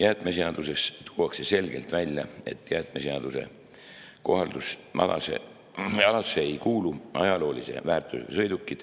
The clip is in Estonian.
Jäätmeseaduses tuuakse selgelt välja, et jäätmeseaduse kohaldusalasse ei kuulu ajaloolise väärtusega sõidukid,